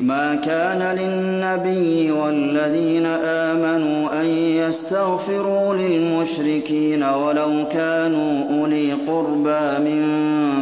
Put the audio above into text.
مَا كَانَ لِلنَّبِيِّ وَالَّذِينَ آمَنُوا أَن يَسْتَغْفِرُوا لِلْمُشْرِكِينَ وَلَوْ كَانُوا أُولِي قُرْبَىٰ مِن